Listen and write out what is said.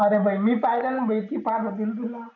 अरे भाई मी पाहिलना ती पाहत होती ना तुला